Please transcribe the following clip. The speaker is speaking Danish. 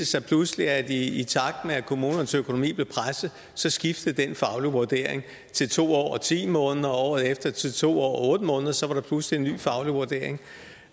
sig pludselig at i takt med at kommunernes økonomi blev presset så skiftede den faglige vurdering til to år og ti måneder og året efter til to år og otte måneder så var der pludselig en ny faglig vurdering